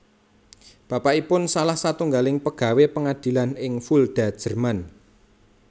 Bapakipun salah satunggaling pegawé pengadilan ing Fulda Jerman